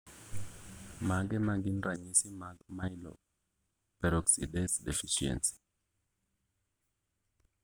Mage magin ranyisi mag Myeloperoxidase deficiency?